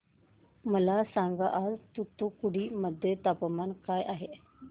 मला सांगा आज तूतुकुडी मध्ये तापमान काय आहे